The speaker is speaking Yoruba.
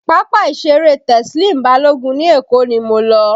Pápá ìṣeré Teslim Balogun ní Èkó ni mo lọ